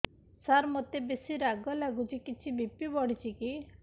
ସାର ମୋତେ ବେସି ରାଗ ଲାଗୁଚି କିଛି ବି.ପି ବଢ଼ିଚି କି